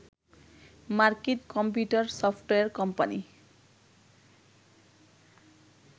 মার্কিন computer software company